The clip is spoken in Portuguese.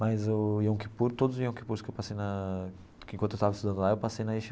Mas o Yom Kippur, todos os Yom Kippurs que eu passei na que enquanto eu estava estudando lá, eu passei na